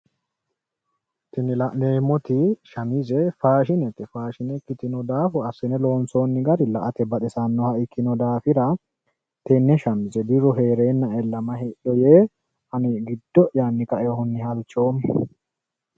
Tini la'neemmo shamize faashinete, faashine ikkitino daafo assine loonsoonni gari la'ate baxisannoha ikkino daafira birru hee'reennae may hidho yee halchoommo.